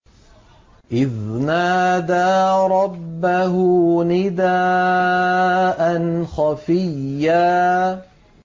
إِذْ نَادَىٰ رَبَّهُ نِدَاءً خَفِيًّا